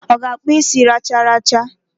O ga-akpu isi racharacha?